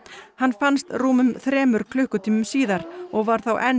hann fannst rúmum þremur klukkutímum síðar og var þá enn